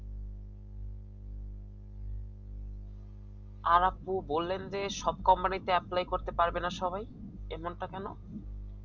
আর আপু বললেন যে সব company তে apply পারবে না সবাই এমনটা কেন